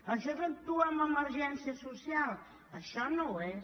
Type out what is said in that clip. això és actuar amb emergència social això no ho és